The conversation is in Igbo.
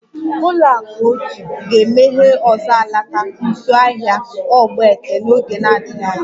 Ụlọakụ otu ga-emeghe ọzọ alaka nso ahịa ogbete n'oge na-adịghị anya